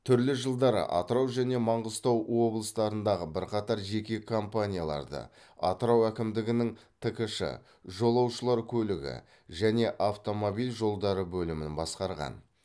түрлі жылдары атырау және маңғыстау облыстарындағы бірқатар жеке компанияларды атырау әкімдігінің ткш жолаушылар көлігі және автомобиль жолдары бөлімін басқарған